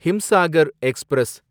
Himsagar express